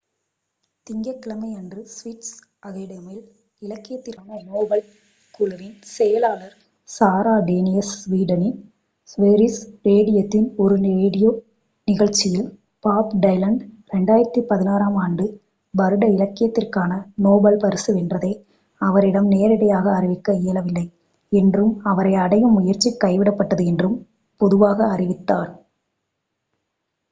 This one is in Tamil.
திங்கட் கிழமையன்று ஸ்வீடிஷ் அகேடமியில் இலக்கியத்திற்கான நோபல் குழுவின் செயலாளர் சாரா டேனியஸ் ஸ்வீடனின் ஸ்வெரிஜெஸ் ரேடியோவின் ஒரு ரேடியோ நிகழ்ச்சியில் பாப் டைலன் 2016ஆம் வருட இலக்கியத்திற்கான நோபல் பரிசு வென்றதை அவரிடம் நேரிடையாக அறிவிக்க இயலவில்லை என்றும் அவரை அடையும் முயற்சி கைவிடப்பட்டது என்றும் பொதுவாக அறிவித்தார்